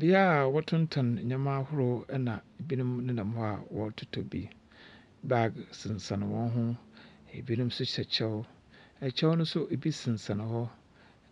Bea a wɔtontɔn ndzɛmba ahorow na binom nenam hɔ a wɔrototɔ bi. Bag sensɛn hɔn ho. Binom nso hyɛ kyɛw. Kyɛw no nso bi sensɛn hɔ,